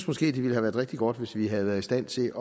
måske ville have været rigtig godt hvis vi havde været i stand til